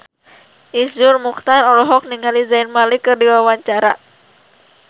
Iszur Muchtar olohok ningali Zayn Malik keur diwawancara